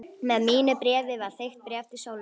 Með mínu bréfi var þykkt bréf til Sólrúnar.